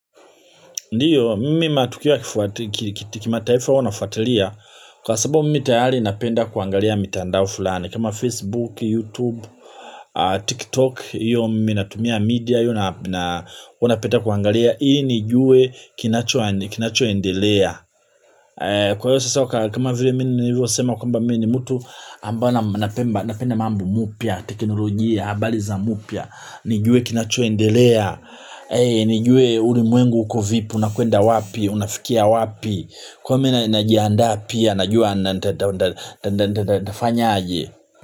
Ndiyo, mimi matukio kimataifa huwa na fatalia. Kwa sababu mimi tayari napenda kuangalia mitandao fulani. Kama Facebook, Youtube, TikTok. Iyo mimi natumia media. Iyo uwanapita kuangalia. Ili nijue kinachoendelea. Kwa hiyo sasa kama vile mimi nilivyo sema kamba mimi ni mtu napenda mambo mpya. Teknolojia, habari za mpya. Nijue kinachoendelea, nijue ulimwengu uko vipi, unakuenda wapi, unafikia wapi. Kwa mimi najianda pia, najua ntafanya aje.